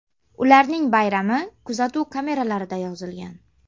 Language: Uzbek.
Ularning bayrami kuzatuv kameralarida yozilgan.